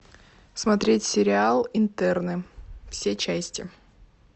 смотреть сериал интерны все части